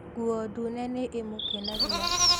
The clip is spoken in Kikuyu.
Nguo ndune nĩ ĩmũkenagia